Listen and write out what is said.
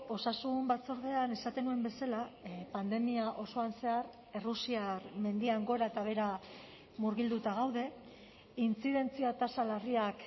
osasun batzordean esaten nuen bezala pandemia osoan zehar errusiar mendian gora eta behera murgilduta gaude intzidentzia tasa larriak